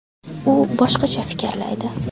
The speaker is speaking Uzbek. U boshqacha fikrlaydi.